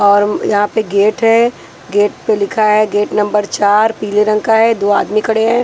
और अम यहाँ पे गेट है गेट पे लिखा है गेट नंबर चार पीले रंग का है दो आदमी खड़े हैं।